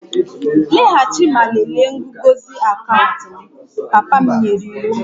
Laghachi ma lelee nguzozi akaụntụ m! Papa m nyere iwu